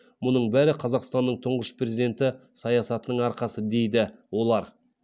мұның бәрі қазақстанның тұңғыш президенті саясатының арқасы дейді олар